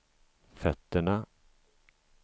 fötterna